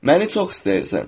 Məni çox istəyirsən.